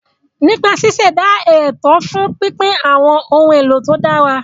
Nípa ṣíṣẹ̀dá ètò fún pínpín àwọn ohun èlò tó dára.